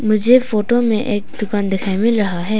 मुझे फोटो में एक दुकान दिखाई मिल रहा है।